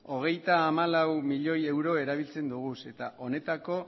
hogeita hamalau milioi euro erabiltzen ditugu eta honetako